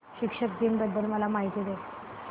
शिक्षक दिन बद्दल मला माहिती दे